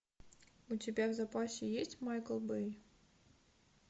у тебя в запасе есть майкл бэй